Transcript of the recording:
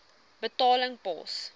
betaling pos